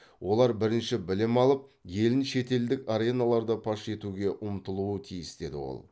олар бірінші білім алып елін шетелдік ареналарда паш етуге ұмтылуы тиіс деді ол